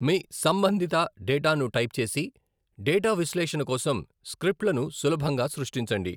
మీ సంబంధిత డేటాను టైప్ చేసి, డేటా విశ్లేషణ కోసం స్క్రిప్ట్లను సులభంగా సృష్టించండి.